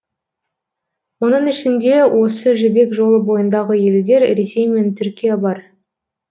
оның ішінде осы жібек жолы бойындағы елдер ресей мен түркия бар